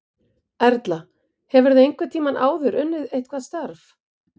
Erla: Hefurðu einhvern tímann áður unnið eitthvað starf?